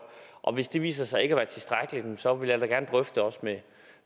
og hvis det viser sig ikke at være tilstrækkeligt så vil vi da gerne drøfte også med